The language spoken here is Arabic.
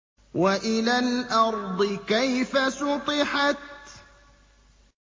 وَإِلَى الْأَرْضِ كَيْفَ سُطِحَتْ